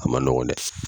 A ma nɔgɔ dɛ